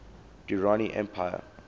durrani empire